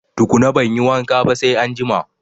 Tukuna banyi wanka ba sai anjima